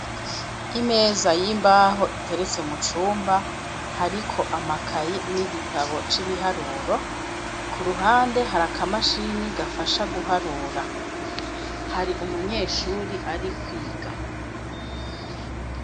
Imeza y'imbaho iteretse mu cumba hariko amakaye n'igitabo c'ibiharuro ku ruhande hari akamashini gafasha guharura hari umunyeshuri ari kwiga.